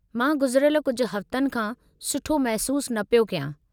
मां गुज़रियल कुझु हफ़्तनि खां सुठो महिसूसु न पियो कयां।